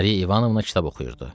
Mariya İvanovna kitab oxuyurdu.